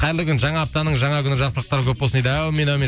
қайырлы күн жаңа аптаның жаңа күні жақсылықтар көп болсын дейді әумин әумин